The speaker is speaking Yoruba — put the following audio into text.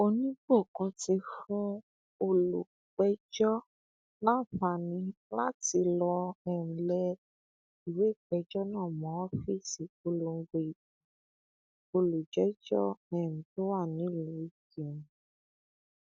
oníbòkun ti fún olùpẹjọ láǹfààní láti lọ um lẹ ìwé ìpéjọ náà mọ ọfíìsì ìpolongo ìbò olùjẹjọ um tó wà nílùú ìkírùn